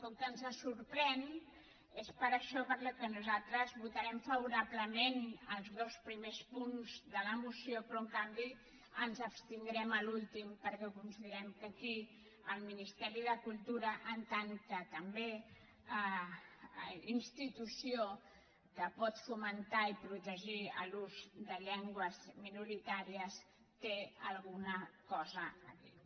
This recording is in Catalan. com que ens sorprèn és per això pel que nosaltres votarem favorablement els dos primers punts de la moció però en canvi ens abstindrem a l’últim perquè considerem que aquí el ministeri de cultura en tant que també institució que pot fomentar i protegir l’ús de llengües minoritàries té alguna cosa a dir